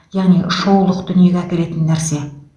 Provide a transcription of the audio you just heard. яғни шоулық дүниеге әкелетін нәрсе